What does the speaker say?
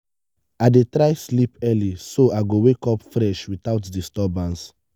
i dey try sleep early so i go wake up fresh without disturbance.